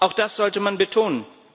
auch das sollte man betonen.